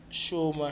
xuma